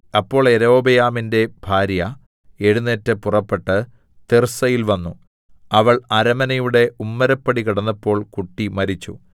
അപ്പോൾ യൊരോബെയാമിന്റെ ഭാര്യ എഴുന്നേറ്റ് പുറപ്പെട്ട് തിർസ്സയിൽ വന്നു അവൾ അരമനയുടെ ഉമ്മരപ്പടി കടന്നപ്പോൾ കുട്ടി മരിച്ചു